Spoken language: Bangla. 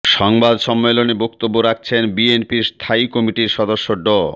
সংবাদ সম্মেলনে বক্তব্য রাখছেন বিএনপির স্থায়ী কমিটির সদস্য ড